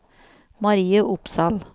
Marie Opsahl